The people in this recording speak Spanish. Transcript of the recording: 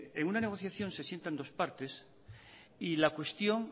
en una negociación se sientan dos partes y la cuestión